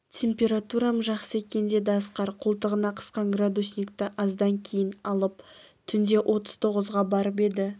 температурам жақсы екен деді асқар қолтығына қысқан градусникті аздан кейін алып түнде отыз тоғызға барып еді